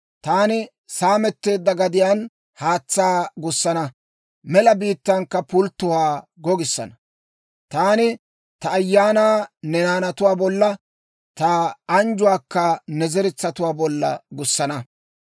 Taani saametteedda gadiyaan haatsaa gussana; mela biittankka pulttuwaa gogissana. Taani ta Ayaanaa ne naanatu bolla, ta anjjuwaakka ne zeretsatuwaa bolla gussana.